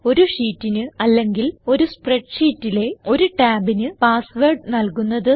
ഒരു ഷീറ്റിന് അല്ലെങ്കിൽ ഒരു സ്പ്രെഡ് ഷീറ്റിലെ ഒരു ടാബിന് പാസ് വേർഡ് നല്കുന്നത്